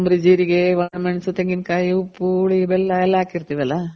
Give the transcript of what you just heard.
ಕೊತ್ತಂಬ್ರಿ , ಜೀರಿಗೆ, ಒಣಮೆಣಸು, ತೆಂಗಿನ ಕಾಯಿ , ಉಪ್ಪು, ಹುಳಿ, ಬೆಲ್ಲ ಎಲ್ಲ ಹಾಕಿರ್ತಿವಲ್ಲ.